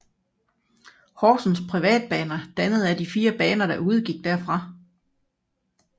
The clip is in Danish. Horsens Privatbaner dannet af de fire baner der udgik derfra